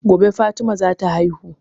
Gobe fatima za ta haihu